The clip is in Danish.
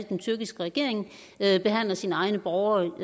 den tyrkiske regering behandler sine egne borgere